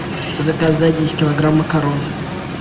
заказать десять килограмм макарон